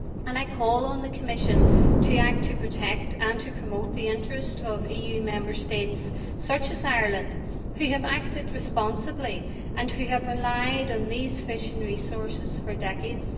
I call on the Commission to act to protect and to promote the interests of EU Member States, such as Ireland, which have acted responsibly and which have relied on these fishing resources for decades.